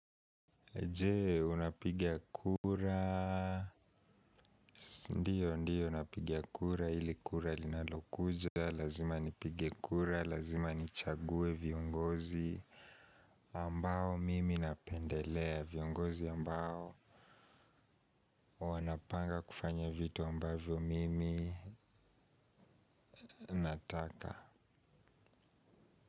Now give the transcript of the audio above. Je, unapiga kura ndiyo napiga kura, ili kura linalokuja lazima nipige kura, lazima nichague viongozi ambao mimi napendelea viongozi ambao wanapanga kufanya vitu ambavyo mimi nataka.